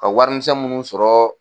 Ka warimisɛn minnu sɔrɔ.